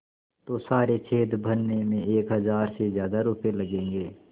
तो सारे छेद भरने में एक हज़ार से ज़्यादा रुपये लगेंगे